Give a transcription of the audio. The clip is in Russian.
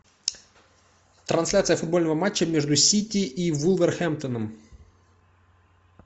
трансляция футбольного матча между сити и вулверхэмптоном